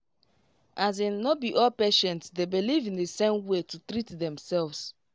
as in no be all patients dey beleive in the same way to treat themselves